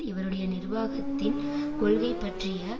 இவருடைய நிர்வாகத்தின் கொள்கை பற்றிய